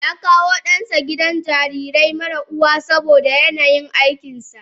Yakawo dansa gidan jarirai marasa uwa saboda yanayin aikinsa.